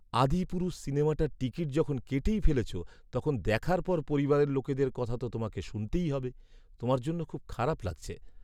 "আদিপুরুষ" সিনেমাটার টিকিট যখন কেটেই ফেলেছো, তখন দেখার পর পরিবারের লোকেদের কথা তো তোমাকে শুনতেই হবে। তোমার জন্য খুব খারাপ লাগছে।